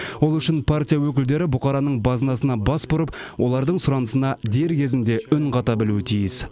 ол үшін партия өкілдері бұқараның базынасына бас бұрып олардың сұранысына дер кезінде үн қата білуі тиіс